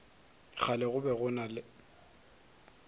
kgale go be go na